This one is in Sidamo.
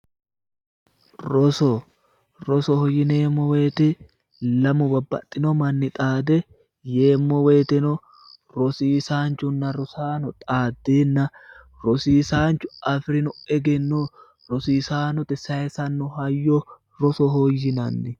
Roso, rosoho yineemmo woyte lamu babbaxxino manni xaade yeemmo woyiteno rosiisaanchunna rosaano xaaddenna tosiisaanchu afi'rino egenno rosiisaanote sayiisanno hayyo rosoho yinanni.